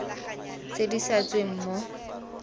tse di sa tsweng mo